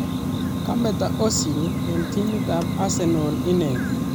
Kametoo ozil eng timit ab arsenal inee